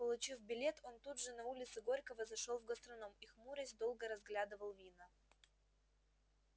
получив билет он тут же на улице горького зашёл в гастроном и хмурясь долго разглядывал вина